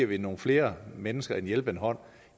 give nogle flere mennesker en hjælpende hånd